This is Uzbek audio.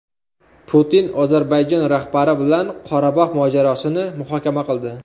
Putin Ozarbayjon rahbari bilan Qorabog‘ mojarosini muhokama qildi.